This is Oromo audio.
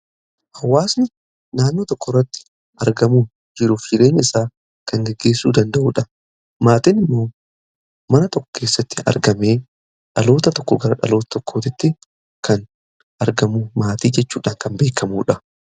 Hawaasni naannoo tokkorratti argamu jiruf jireenye isaa kan geggeessuu danda'uudha. MaatIin immoo mana tokKO keessatti argamee dhaloota tokko gara dhaloota tokkoottti kan argamu maatii jechuudhaan kan beekamuudha.